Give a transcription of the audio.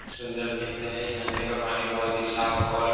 सुंदर दिखता है इस झरने का पानी बोहोत ही साफ और --